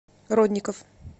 родников